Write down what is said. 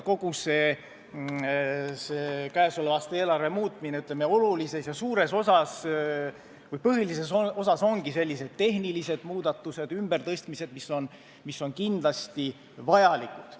Käesoleva aasta eelarves ongi suures osas, põhilises osas sellised tehnilised muudatused, ümbertõstmised, mis on kindlasti vajalikud.